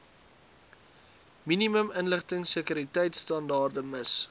minimum inligtingsekuriteitstandaarde miss